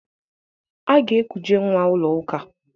A ga-ekuje nnwa ụlọụka.